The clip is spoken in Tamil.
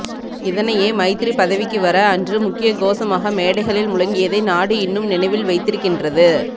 இதனையே மைத்திரி பதவிக்கு வர அன்று முக்கிய கோஷமாக மேடைகளில் முழங்கியதை நாடு இன்னும் நினைவில் வைத்திருக்கின்றது